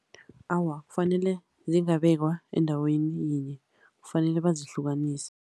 Awa, kufanele zingabekwa endaweni yinye, kufanele bazihlukanise.